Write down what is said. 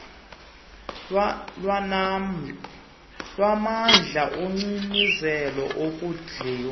lwamandla agciniweyo ukondliwa